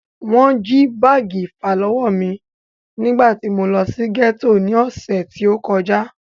Wọ́n jí báàgì ìfàlọ́wọ́ mí nígbà tí mo lọ sí gẹ́tò ní ọ̀sẹ̀ tí o kọjá.